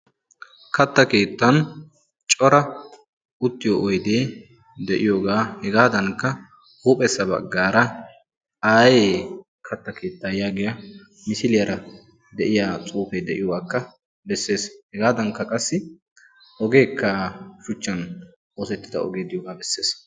Katta keettan cora uttiyo oydee de'iyooga hegaadankka ayee kata keetaa yaagiya xuufee beetees. hegaadankka qassi ogee diyaagaa besees.